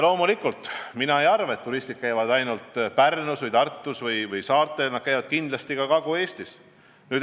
Loomulikult, mina ei arva, et turistid käivad ainult Pärnus, Tartus või saartel, nad käivad kindlasti ka Kagu-Eestis.